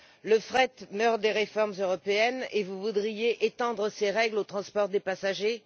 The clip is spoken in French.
Le fret meurt des réformes européennes et vous voudriez étendre ces règles au transport des passagers?